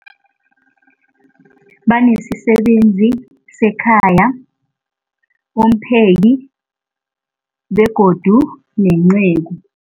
Banesisebenzi sekhaya, umpheki, begodu nenceku.